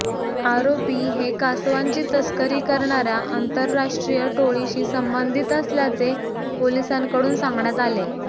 आरोपी हे कासवांची तस्करी करणाऱ्या आंतरराष्ट्रीय टोळीशी संबंधित असल्याचे पोलिसांकडून सांगण्यात आले